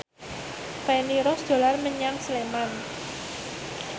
Feni Rose dolan menyang Sleman